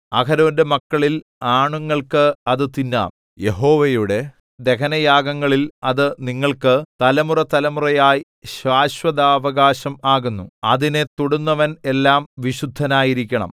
അഹരോന്റെ മക്കളിൽ ആണുങ്ങൾക്ക് അത് തിന്നാം യഹോവയുടെ ദഹനയാഗങ്ങളിൽ അത് നിങ്ങൾക്ക് തലമുറതലമുറയായി ശാശ്വതാവകാശം ആകുന്നു അതിനെ തൊടുന്നവൻ എല്ലാം വിശുദ്ധനായിരിക്കണം